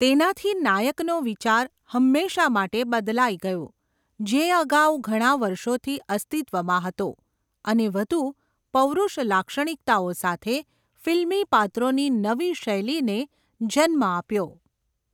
તેનાથી નાયકનો વિચાર હંમેશાંં માટે બદલાઈ ગયો, જે અગાઉ ઘણા વર્ષોથી અસ્તિત્વમાં હતો અને વધુ પૌરુષ લાક્ષણિકતાઓ સાથે ફિલ્મી પાત્રોની નવી શૈલીને જન્મ આપ્યો.